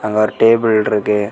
அங்க ஒரு டேபிள் இருக்கு.